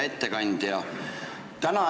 Hea ettekandja!